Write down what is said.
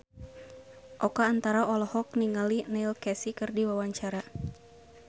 Oka Antara olohok ningali Neil Casey keur diwawancara